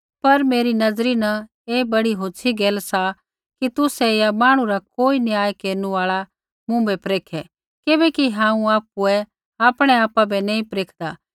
पर मेरी नज़रा न ऐ बड़ी होछ़ी गैल सा कि तुसै या मांहणु रा कोई न्याय केरनु आल़ा मुँभै परेखे किबैकि हांऊँ आपुऐ आपणै आपा बै नैंई परेखदा